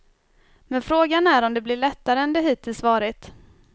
Men fråga är om det blir lättare än det hittills varit.